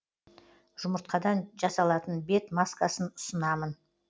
жұмыртқадан жасалатын бет маскасын ұсынамын